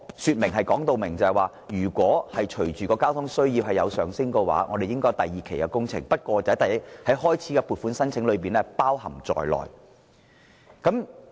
此外，政府當時清楚說明，隨着交通需要上升，政府會進行第二期工程，不過，有關開支已包含在原先的撥款中。